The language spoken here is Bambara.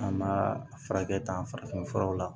An b'a farakɛ ta farafin furaw la